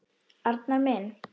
Arnar minn.